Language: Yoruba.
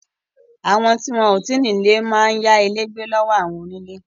Àwọn tí wọn ò tí ì ní ilé máa ń yá ilé gbé lọ́wọ́ àwọn onílé